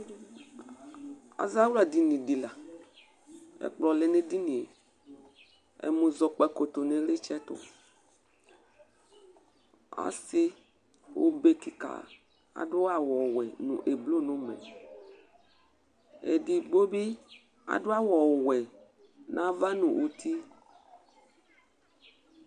azawlaɗɩnɩ ɗɩlanʊtɛ ɛƙplɔ lɛnʊ eɗɩnŋe ɛmʊzɔ ƙpaƙo tʊnʊ ɩlɩtsɛtʊ ɔsɩ oɓeƙɩƙa aɗʊ awʊ ɔwɛ nʊ aʋaʋlɩ nʊ ʊmɛ eɗɩgɓoɓɩ aɗʊ awʊ ɔwɔ nu aʋa ɗʊnʊ ʊtɩ